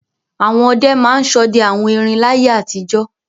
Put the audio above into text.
Àwọn ọdẹ máa ń ṣọdẹ àwọn erin láyé àtijọ́.